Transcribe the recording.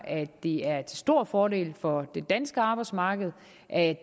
at det er til stor fordel for det danske arbejdsmarked at